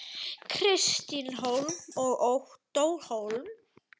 Kristín Hólm og Ottó Hólm.